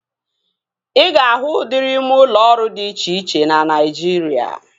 Ị ga-ahụ udịri ime ụlọ ọrụ dị iche iche na Naijiria